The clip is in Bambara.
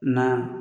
Na